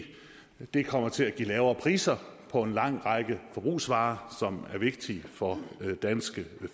det kommer til at give lavere priser på en lang række forbrugsvarer som er vigtige for danske